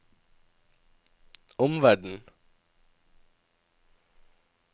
omverden